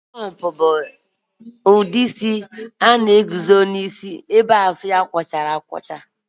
Pọnk bụ ụdị isi nke na-eguzoro n'ihu ebe azụ ya na-akwụcha